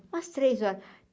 umas três horas.